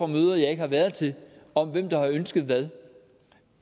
møder jeg ikke har været til om hvem der har ønsket hvad